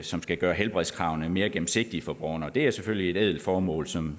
som skal gøre helbredskravene mere gennemsigtige for borgerne det er selvfølgelig et ædelt formål som